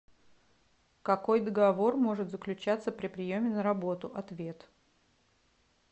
какой договор может заключаться при приеме на работу ответ